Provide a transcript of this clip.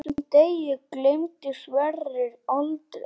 Þessum degi gleymdi Sverrir aldrei.